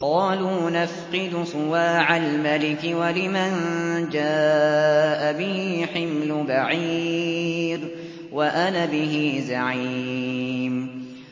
قَالُوا نَفْقِدُ صُوَاعَ الْمَلِكِ وَلِمَن جَاءَ بِهِ حِمْلُ بَعِيرٍ وَأَنَا بِهِ زَعِيمٌ